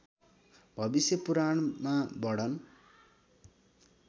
भविष्य पुराणमा वर्णन